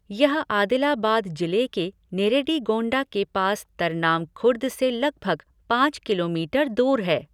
यह आदिलाबाद जिले के नेरेडीगोंडा के पास तरनाम खुर्द से लगभग पाँच किलोमीटर दूर है।